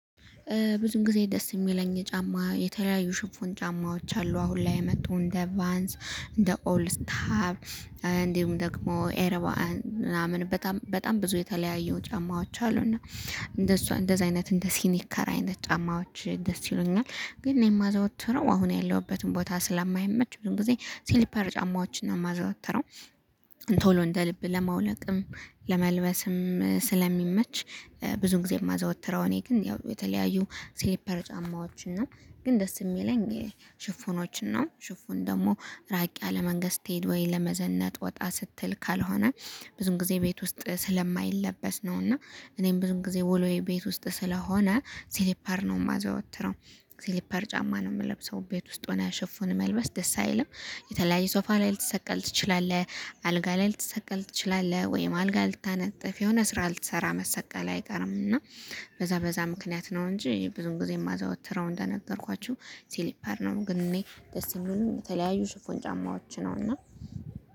ብዙም ጊዜ ደስ የሚለኝ የጫማ የተለያዩ ሽፎን ጫማዎች አሉ። አሁን ላይ የመጡ እንደ አቫንስ እንደ ኦልድሰታ ታብ እንዲሁም ደግሞ ኤርባን ምናምን በጣም በጣም ብዙ የተለያየው ጫማዎች አሉ። እና እንደዛ እንደዚህ አይነት እንደ ሲኒካራ አይነት ጫማዎች ደስ ይሉኛል። ግን እኔ የማዘወትረው አሁን ያለሁበትን ቦታ ስለማይመች ብዙ ጊዜ ሲሊፐር ጫማዎችን ነው የማዘወተረው ቶሎ እንደ ልብ ለማውለቅም ለመልበስም ስለሚመች ብዙን ጊዜ የማዘወትረው እኔ ግን ያው የተለያዩ ስሊፐር ጫማዎችን ነው ግን ደስ የሚለኝ ሽፎኖችን ነው። ሽፎን ደግሞ ራቅ ያለ መንገድ ስትሄድ ወይ ለመዘነጥ ወጣ ስትል ካልሆነ ብዙም ጊዜ ቤት ውስጥ ስለማይለበስ ነው እና እኔም ብዙም ጊዜ ወሎዬ ቤት ውስጥ ስለሆነ ስሊፐር ነው የማዘወትረው ስሊፐር ጫማ ነው የምለብሰው ቤት ውስጥ ሆነ ያሸፉን መልበስ ደስ አይልም የተለያየ ሶፋ ላይ ልትሰቀል ትችላለህ። አልጋ ላይ ልትሰቀል ትችላለህ። ወይም አልጋ ልታነጥፍ የሆነ ስራ ልትሰራ መሰቀል አይቀርም እና በዛ በዛ ምክንያት ነው እንጂ ብዙም ጊዜ የማዘዋውትረው እንደነገርኳችሁ ሲሊፓር ነው። ግን እኔ ደስ የሚሉኝ በተለያዩ ሽፎን ጫማዎች ነው። እና